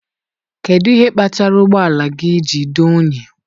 kedụ ihe kpatara ụgbọ ala ji dị unyi?